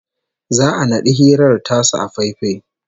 Za'a naɗi hirar tasu a faifai